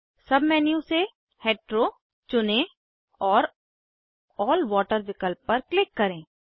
सब मेन्यू से हेटेरो चुनें और अल्ल वाटर विकल्प पर क्लिक करें